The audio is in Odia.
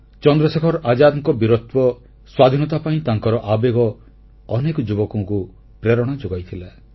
ଚନ୍ଦ୍ରଶେଖର ଆଜାଦଙ୍କ ବୀରତ୍ୱ ସ୍ୱାଧୀନତା ପାଇଁ ତାଙ୍କର ଆବେଗ ଅନେକ ଯୁବକଙ୍କୁ ପ୍ରେରଣା ଯୋଗାଇଥିଲା